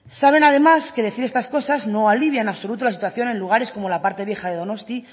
saben además que decir estas cosas no alivian en absoluto la situación en los lugares como en la parte vieja de donostia